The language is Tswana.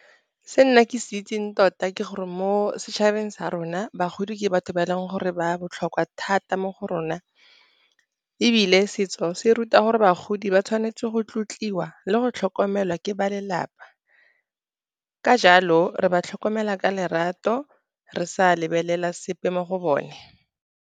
Se nna ke se itseng tota ke gore mo setšhabeng sa rona, bagodi ke batho ba e leng gore ba botlhokwa thata mo go rona. Ebile, setso se ruta gore bagodi ba tshwanetse go tlotliwa le go tlhokomelwa ke ba lelapa, ka jalo re ba tlhokomela ka lerato re sa lebelela sepe mo go bone.